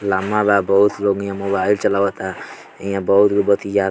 लम्बा बा बोहोत लोग यहाँ मोबाइल चलावाता इहा बोहुत के बतिया --